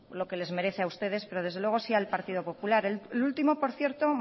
que les merece a ustedes pero desde luego sí al partido popular el último por cierto